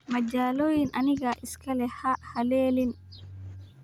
Majaloyin anigaa iska leh, ha halenin.